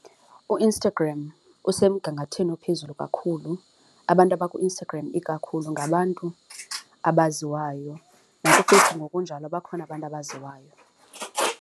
UInstagram usemgangathweni ophezulu kakhulu, abantu abakuInstagram ikakhulu ngabantu abaziwayo. NakuFacebook ngokunjalo bakhona abantu abaziwayo.